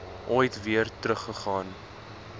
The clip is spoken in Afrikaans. ooit weer teruggegaan